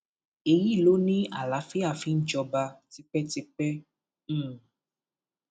èyí ló ní àlàáfíà fi ń jọba tipẹtipẹ um